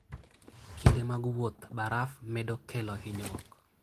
Kinde mag wuoth, baraf medo kelo hinyruok.